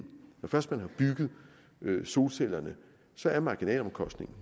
først man har bygget solcellerne så er marginalomkostningen